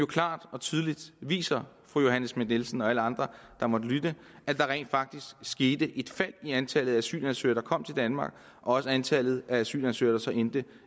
klart og tydeligt viser fru johanne schmidt nielsen og alle andre der måtte lytte at der rent faktisk skete et fald i antallet af asylansøgere der kom til danmark og også i antallet af asylansøgere der endte